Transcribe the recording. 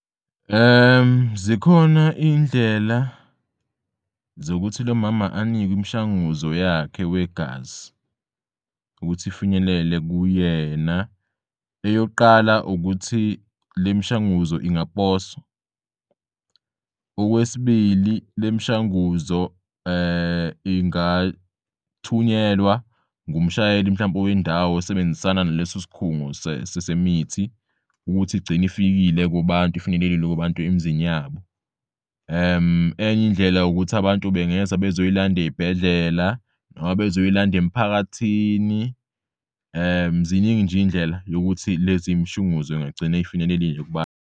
Zikhona iy'ndlela zokuthi lomama anikwim'shanguzo yakhe wegazi ukuthi ifinyelele kuyena. Eyok'qala ukuthi lemishanguzo ingaposwa. Okwesibili, lemishanguzo ingathunyelwa ngumshayeli mhlawumpe wendawo osebenzisana nalesi sikhungo semithi ukuthi igcin'ifikile kubantu ifinyelelile kubantu emzini yabo. Eny'indlela yokuthi abantu bengeza bezoyiland'ey'bhedlela noma bezoyiland'emphakathini ziningi nje iy'ndlela yokuthi lezi mshunguzo ingagcin'ifinyelelile kubantu.